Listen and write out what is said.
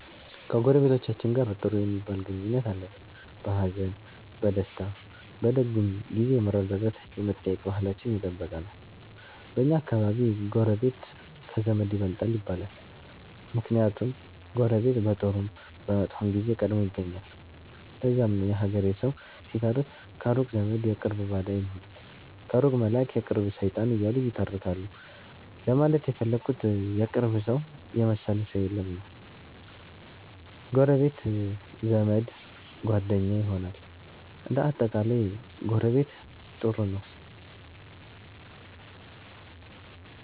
ከጎረቤቶቻችን ጋር ጥሩ ሚባል ግንኙነት አለን። በሀዘን፣ በደስታ፣ በደጉም ጊዜ የመረዳዳት የመጠያየቅ ባህላችን የጠበቀ ነው። በኛ አከባቢ ጎረቤት ከዘመድ ይበልጣል ይባላል። ምክንያቱም ጎረቤት በጥሩም በመጥፎም ጊዜ ቀድሞ ይገኛል። ለዛም ነው የሀገሬ ሠዉ ሲተርት ከሩቅ ዘመድ የቅርብ ባዳ ሚሉት ከሩቅ መላእክ የቅርብ ሠይጣን እያሉ ይተረካሉ ለማለት የፈለጉት የቅርብ ሠውን የመሠለ ሠው የለም ነዉ። ጎረቤት ዘመድ፣ ጓደኛ ይሆናል። እንደ አጠቃላይ ጎረቤት ጥሩ ነው።